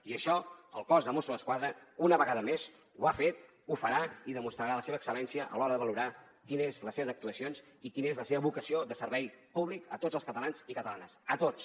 i això el cos de mossos d’esquadra una vegada més ho ha fet ho farà i demostrarà la seva excel·lència a l’hora de valorar quines són les seves actuacions i quina és la seva vocació de servei públic a tots els catalans i catalanes a tots